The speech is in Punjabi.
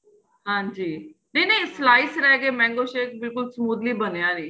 ਹਾਂਜੀ ਨਹੀਂ ਨਹੀਂ slides ਰਹਿ ਗਏ mango shake ਬਿਲਕੁਲ smoothly ਬਣਿਆ ਨਹੀਂ